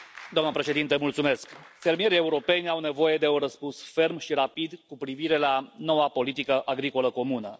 Doamna președintă, fermierii europeni au nevoie de un răspuns ferm și rapid cu privire la noua politică agricolă comună.